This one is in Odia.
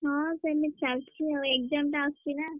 ହଁ ସେମତି ଚାଲିଚି ଆଉ exam ଟା ଆସୁଚି ନା।